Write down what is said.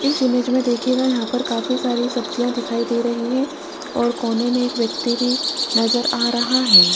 इस इमेज में देखिएगा यहां पर काफी सारी सब्जियां दिखाई दे रही है और कोने में एक व्यक्ति भी नजर आ रहा है।